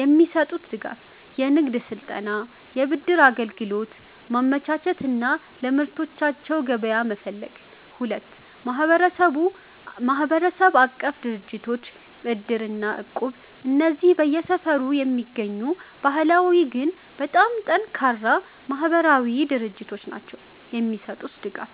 የሚሰጡት ድጋፍ፦ የንግድ ስልጠና፣ የብድር አገልግሎት ማመቻቸት እና ለምርቶቻቸው ገበያ መፈለግ። 2. ማህበረሰብ-አቀፍ ድርጅቶች (እድር እና እቁብ) እነዚህ በየሰፈሩ የሚገኙ ባህላዊ ግን በጣም ጠንካራ ማህበራዊ ድርጅቶች ናቸው። የሚሰጡት ድጋፍ፦